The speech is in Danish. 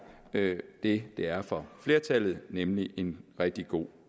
det det er for flertallet nemlig en rigtig god